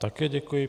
Také děkuji.